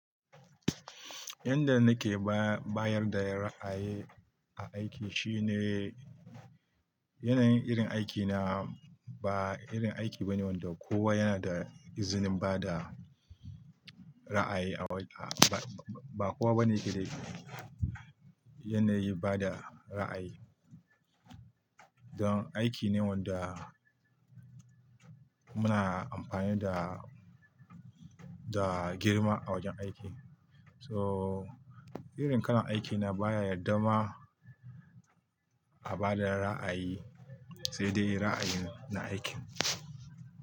Yanda nake bayar da ra'ayi a aiki shine yanayin irin aikina ba irin aiki bane wanda kowa yana da izinin ba da ra'ayi a wa-- ba kowa bane ke da yanayi bada ra'ayi. Don aiki ne wanda muna amfani da, da girma a wajen aiki. So irin kalan aikina baya yarda ma a ba da ra'ayi, sai dai ra'ayin na aikin.